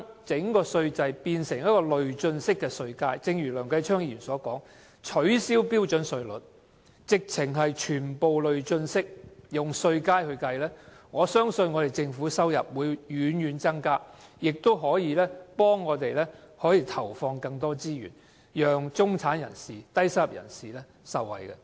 如果把稅制變成累進式稅階，正如梁繼昌議員建議取消標準稅率，全部改用累進式稅階計算，我相信政府的收入將會大大增加，屆時便可以投放更多資源，讓中產和低收入人士受惠。